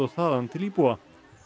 þaðan til íbúa